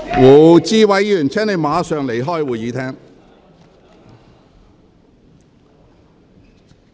胡志偉議員，請你立即離開會議廳。